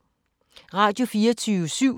Radio24syv